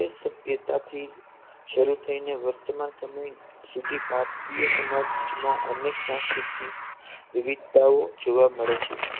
સભ્યતાથી શરૂ થઈને વર્તમાન સમય સુધી ભારતીય સમાજમાં અનેક સાંસ્કૃતિક વિવિધતાઓ જોવા મળે છે